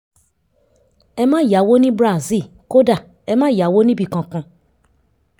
ẹ má yáwó ní brazil kódà ẹ má yà níbì kankan